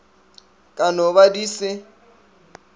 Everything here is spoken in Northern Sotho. ka no ba di se